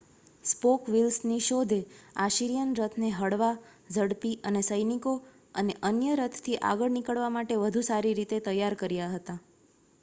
spoke વ્હીલ્સની શોધે Assyrian રથને હળવા ઝડપી અને સૈનિકો અને અન્ય રથથી આગળ નીકળવા માટે વધુ સારી રીતે તૈયાર કર્યા હતા